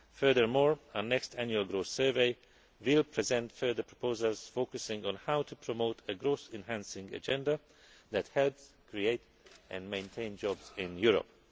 crisis. Furthermore, our next Annual Growth Survey will present further proposals focusing on how to promote a growth enhancing agenda that helps to create and maintain jobs in